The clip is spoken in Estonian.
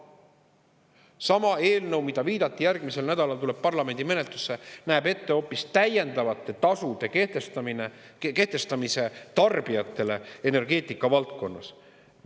Sama eelnõu, mille kohta viidati, et see järgmisel nädalal tuleb parlamendi menetlusse, näeb ette hoopis täiendavate tasude kehtestamise tarbijatele energeetika valdkonnas.